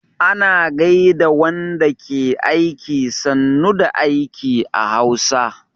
Ana gaida wanda ke aiki 'sannu da aiki' a Hausa